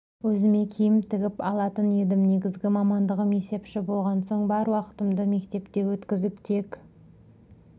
өзіме киім тігіп алатын едім негізгі мамандығым есепші болған соң бар уақытымды мектепте өткізіп тек